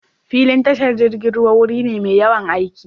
Filin tashar jirgin ruwa wuri ne mai yawan aiki.